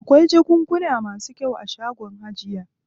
Akwai jakunkuna masu kyau a shagon hajiya.